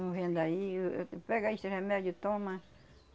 Um vem daí eu, pega esse remédio e toma.